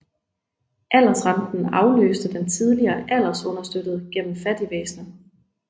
Aldersrenten afløste den tidligere aldersunderstøttelse gennem fattigvæsenet